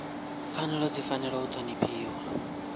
pfanelo dzi fanela u ṱhonifhiwa